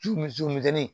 Ju misɛnnin